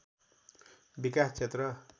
विकास क्षेत्र